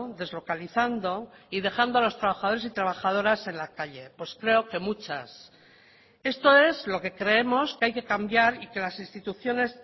deslocalizando y dejando a los trabajadores y trabajadoras en la calle pues creo que muchas esto es lo que creemos que hay que cambiar y que las instituciones